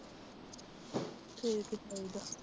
ਠੀਕ ਈ ਚਾਹੀਦਾ।